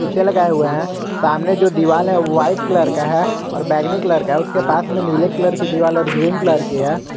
लगाये हुए हैं सामने जो दीवाल है वाइट कलर का है और बैगनी कलर का उसके पास में नीले कलर की दीवार और ग्रीन कलर की है।